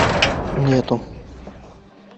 нету